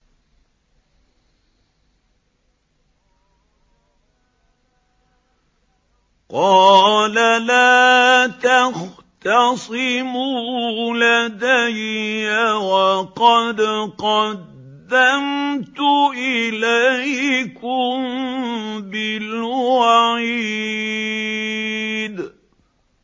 قَالَ لَا تَخْتَصِمُوا لَدَيَّ وَقَدْ قَدَّمْتُ إِلَيْكُم بِالْوَعِيدِ